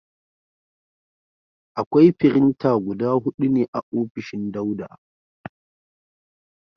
Akwai firinta guda hudu ne a ofishin Dauda.